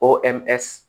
O